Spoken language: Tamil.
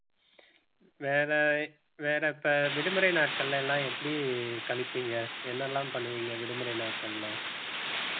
வேற வேற இப்ப விடுமுறை நாட்கள்ல எல்லாம் எப்படி கழிப்பீங்க என்னெல்லாம் பண்ணுவீங்க விடுமுறை நாட்கள்ல